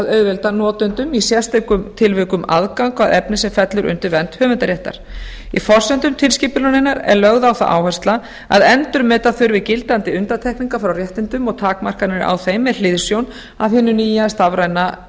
auðvelda notendum í sérstökum tilvikum aðgang að efni sem fellur undir vernd höfundaréttar í forsendum tilskipunarinnar er lögð á það áhersla að endurmeta þurfi gildandi undantekningar frá réttindum og takmarkanir á þeim með hliðsjón af hinu nýja stafræna